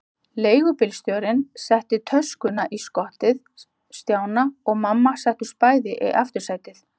Leigubílstjórinn setti töskuna í skottið og Stjáni og mamma settust bæði í aftursætið.